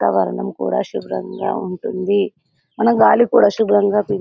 వాతావరణం కూడా శ్రుభంగా ఉంటుంది మనకు గాలి కూడా శ్రుభంగా పీల్చుకో--